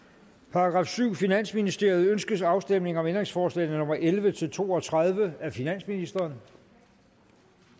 § syvende finansministeriet ønskes afstemning om ændringsforslag nummer elleve til to og tredive af finansministeren